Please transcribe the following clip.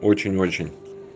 очень-очень